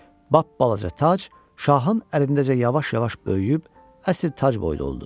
Lap balaca tac şahın əlindəcə yavaş-yavaş böyüyüb əsl tac boyda oldu.